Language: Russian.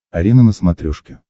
арена на смотрешке